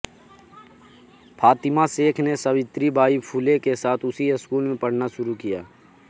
फातिमा शेख ने सावित्रीबाई फुले के साथ उसी स्कूल में पढ़ना शुरू किया